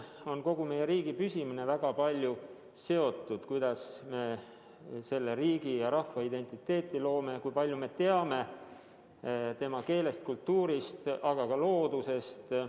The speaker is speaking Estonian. Kogu meie riigi püsimine on väga palju seotud sellega, kuidas me selle riigi ja rahva identiteeti loome ja kui palju me teame tema keelest, kultuurist, aga ka loodusest.